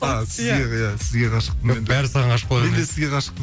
а сізге иә сізге ғашық бәрі саған ғашық бола мен де сізге ғашықпын